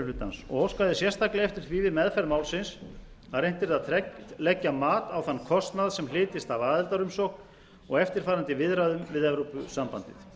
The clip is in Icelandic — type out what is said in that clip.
hlutans og óskaði sérstaklega eftir því við meðferð málsins að reynt yrði að leggja mat á þann kostnað sem hlytist af aðildarumsókn og eftirfarandi viðræðum við evrópusambandið